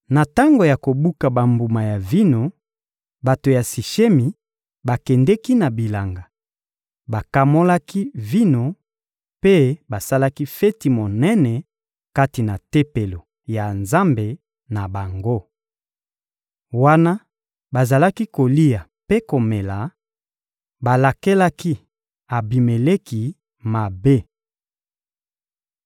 Na tango ya kobuka bambuma ya vino, bato ya Sishemi bakendeki na bilanga, bakamolaki vino mpe basalaki feti monene kati na tempelo ya nzambe na bango. Wana bazalaki kolia mpe komela, balakelaki Abimeleki mabe.